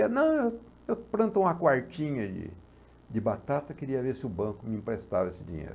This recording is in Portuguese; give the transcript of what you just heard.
Não, eh, eu planto uma quartinha de de batata, queria ver se o banco me emprestava esse dinheiro.